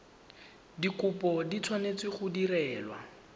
dikopo di tshwanetse go direlwa